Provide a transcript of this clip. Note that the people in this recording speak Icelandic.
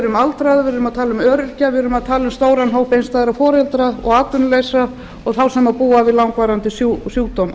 um er að ræða aldraða öryrkja stóran hóp einstæðra foreldra atvinnulausa og þá sem búa við langvarandi sjúkdóma